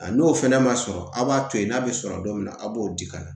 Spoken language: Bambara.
A n'o fana ma sɔrɔ aw b'a to yen n'a bɛ sɔrɔ don min na a b'o di ka na